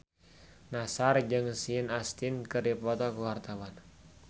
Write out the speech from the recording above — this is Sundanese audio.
Nassar jeung Sean Astin keur dipoto ku wartawan